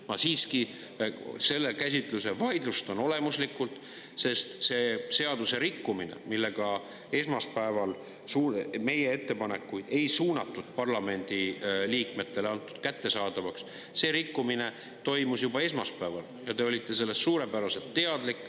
Ma siiski selle käsitluse vaidlustan olemuslikult, sest see seadusrikkumine, millega meie ettepanekuid ei suunatud, ei parlamendiliikmetele kättesaadavaks, toimus juba esmaspäeval ja te olite sellest suurepäraselt teadlik.